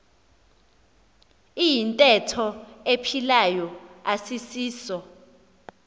iyintetho ephilayo asisiso